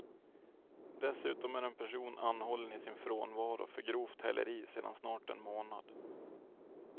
Dessutom är en person anhållen i sin frånvaro för grovt häleri sedan snart en månad.